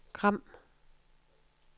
Gram